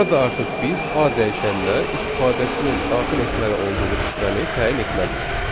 Burada artıq biz A dəyişəninə istifadəçinin daxil etməli olduğu şifrəni təyin etməliyik.